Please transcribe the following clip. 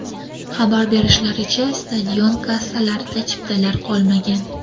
Xabar berishlaricha, stadion kassalarida chiptalar qolmagan .